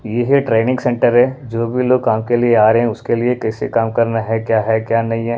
ये है training centre है जो भी लोग काम के लिए आ रहे हैं उसके लिए कैसे काम करना हैक्या है क्या नहीं हैं।